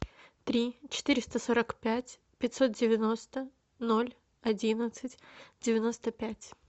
три четыреста сорок пять пятьсот девяносто ноль одиннадцать девяносто пять